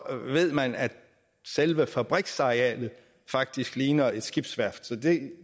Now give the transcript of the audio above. ved man at selve fabriksarealet faktisk ligner et skibsværft så